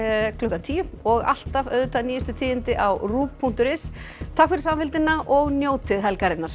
klukkan tíu og alltaf nýjustu tíðindi á punktur is takk fyrir samfylgdina og njótið helgarinnar